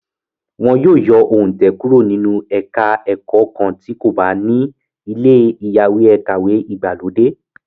Wọ́n yóò yọ òǹtẹ̀ kúrò nínú ẹka ẹ̀kọ́ kan tí kò bá ní ilé ìyáwèékàwé ìgbàlódé.